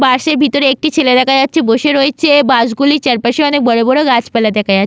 বাস এর ভিতরে একটি ছেলে দেখা যাচ্ছে বসে রয়েছে বাস গুলির চারপাশে অনেক বড় বড় গাছপালা দেখা যা --